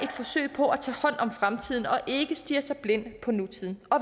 forsøg på at tage hånd om fremtiden og ikke stirre sig blind på nutiden og